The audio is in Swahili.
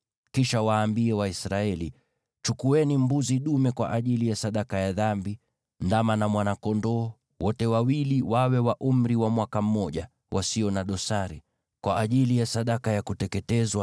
Kisha waambie Waisraeli: ‘Chukueni mbuzi dume kwa ajili ya sadaka ya dhambi, na ndama na mwana-kondoo, wote wawili wawe wa umri wa mwaka mmoja, na wasio na dosari, kwa ajili ya sadaka ya kuteketezwa,